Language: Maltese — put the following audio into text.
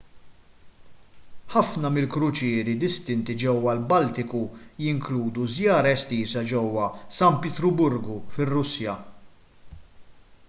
ħafna mill-kruċieri distinti ġewwa l-baltiku jinkludu żjara estiża ġewwa san pietruburgu fir-russja